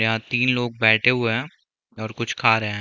यहाँ तीन लोग बैठे हुए है और कुछ खा रहे है।